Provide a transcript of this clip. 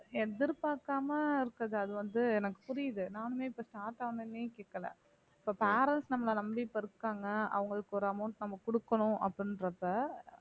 எதிர்பார்க்காம இருக்கிறது அது வந்து எனக்கு புரியுது நானுமே இப்ப start ஆன உடனே கேட்கலை இப்ப parents நம்மள நம்பி இப்ப இருக்காங்க அவங்களுக்கு ஒரு amount நம்ம கொடுக்கணும் அப்படின்றப்ப